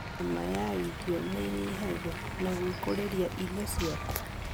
Gharama ya irio nĩnyihagio na gwĩkũrĩria irio ciaku